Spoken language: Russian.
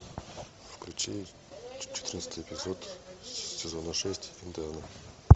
включи четырнадцатый эпизод сезона шесть интерны